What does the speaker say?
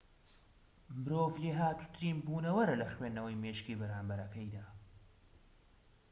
مرۆڤ لێهاتووترین بونەوەرە لە خوێندنەوەی مێشکی بەرامبەرەکەیدا